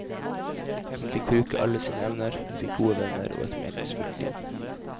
Hun fikk bruke alle sine evner, hun fikk gode venner og et meningsfylt liv.